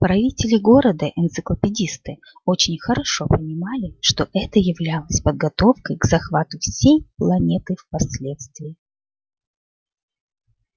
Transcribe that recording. правители города энциклопедисты очень хорошо понимали что это являлось подготовкой к захвату всей планеты впоследствии